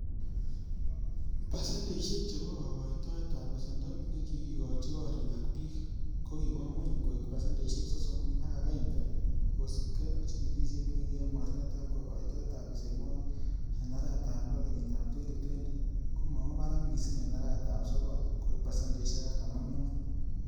Pasendeisiek chebo kokoitoet ab besendo nekikochi gorik ak bik, kokiwo ngwony koik pasendeisiek sosom ak agenge, kosiibge ak chigilisiet nekiyoe mornetab kokoitoetab besenwogik en arawet ab loo kenyitab 2020,komo woo barak missing en arawet ab sogol koik pasendeisiek artam ak mut.